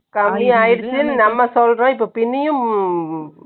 கம்மி ஆயிடுச்சுன்னு நம்ம சொல்றோம். இப்போ பின்னியும்